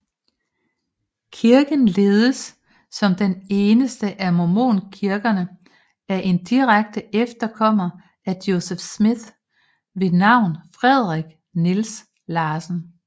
Kirken ledes som den eneste af mormonkirkerne af en direkte efterkommer af Joseph Smith ved navn Frederick Niels Larsen